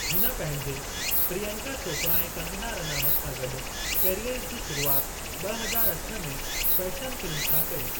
हुन पंहिंजे प्रियंका चोपड़ा ऐं कंगना रनावत सां गॾु करियर जी शुरूआति ब॒ हज़ार अठ में फ़ैशन फ़िल्म सां कई।